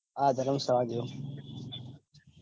હા ધર્મશાળા જે